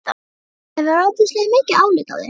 Mamma hefur ofboðslega mikið álit á þér!